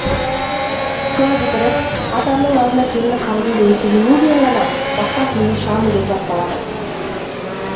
соны бітіріп атамның алдында келіндік қарызымды өтегеннен кейін ғана басқа күйеуге шығамын деп жар салады